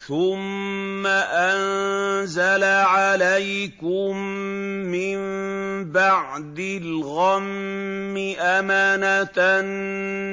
ثُمَّ أَنزَلَ عَلَيْكُم مِّن بَعْدِ الْغَمِّ أَمَنَةً